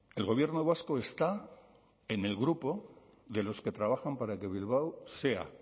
el gobierno vasco está en el grupo de los que trabajan para que bilbao sea